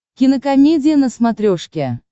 кинокомедия на смотрешке